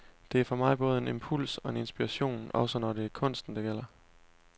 Det er for mig både en impuls og en inspiration, også når det er kunsten det gælder.